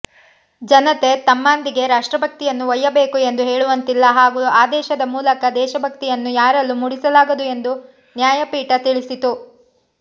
ಜನತೆ ತಮ್ಮಾಂದಿಗೆ ರಾಷ್ಟ್ರಭಕ್ತಿಯನ್ನು ಒಯ್ಯಬೇಕು ಎಂದು ಹೇಳುವಂತಿಲ್ಲ ಹಾಗೂ ಆದೇಶದ ಮೂಲಕ ದೇಶಭಕ್ತಿಯನ್ನು ಯಾರಲ್ಲೂ ಮೂಡಿಸಲಾಗದು ಎಂದು ನ್ಯಾಯಪೀಠ ತಿಳಿಸಿತು